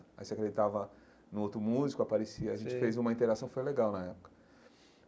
Aí você acreditava no outro músico, aparecia... Sei a gente fez uma interação, foi legal na época.